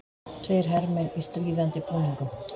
Tveir hermenn í stríðandi búningum.